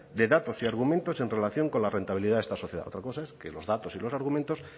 de datos y argumentos en relación con la rentabilidad esta sociedad otra cosa es que los datos y los argumentos